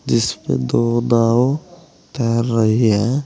जिसपे दो नाव तैर रही है।